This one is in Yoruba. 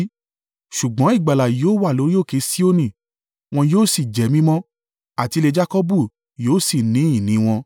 Ṣùgbọ́n ìgbàlà yóò wà lórí òkè Sioni, wọn yóò sì jẹ́ mímọ́, àti ilé Jakọbu yóò sì ní ìní wọn.